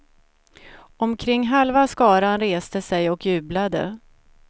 Omkring halva skaran reste sig och jublade.